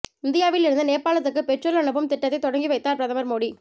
இந்தியாவில் இருந்து நேபாளத்துக்கு பெட்ரோல் அனுப்பும் திட்டத்தை தொடங்கி வைத்தார் பிரதமர் மோடி